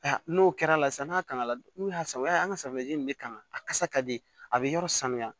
N'o kɛra sa n'a kangala n'u y'a san u b'a ye an ka safinɛji in bɛ kan a kasa ka di a bɛ yɔrɔ sanuya